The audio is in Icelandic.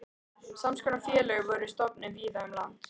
Sams konar félög voru stofnuð víða um land.